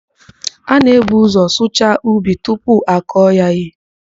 A na-ebu ụzọ sụchaa ubi tupu akọọ ya ihe.